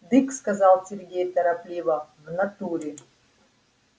дык сказал сергей торопливо в натуре